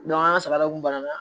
an ka sara de kun banna